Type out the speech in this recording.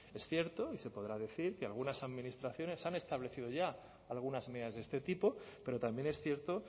es cierto y se podrá decir que algunas administraciones han establecido ya algunas medidas de este tipo pero también es cierto